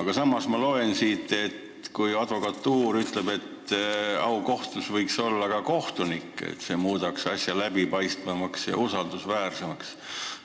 Aga samas loen ma siit, et kuigi advokatuur ütleb, et aukohtu liige võiks olla ka kohtunik, see muudaks asja läbipaistvamaks ja usaldusväärsemaks,